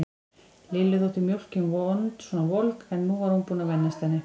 Lillu þótt mjólkin vond svona volg, en nú var hún búin að venjast henni.